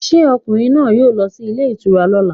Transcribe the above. Will the man go to the hotel tomorrow